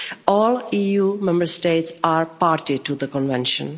All EU Member States are party to the Convention.